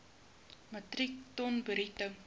metrieke ton bruto